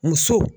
Muso